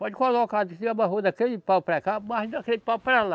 Pode colocar, se você amarrou daquele pau para cá, amarre daquele pau para lá.